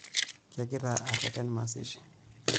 Kegira aareten mazishi.